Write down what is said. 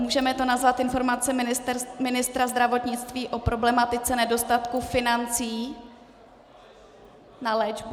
Můžeme to nazvat informace ministra zdravotnictví o problematice nedostatku financí na léčbu?